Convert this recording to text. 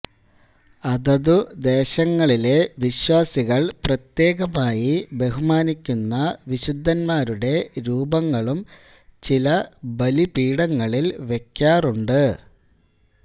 അതതു ദേശങ്ങളിലെ വിശ്വാസികൾ പ്രത്യേകമായി ബഹുമാനിക്കുന്ന വിശുദ്ധൻമാരുടെ രൂപങ്ങളും ചില ബലിപീഠങ്ങളിൽ വയ്ക്കാറുണ്ട്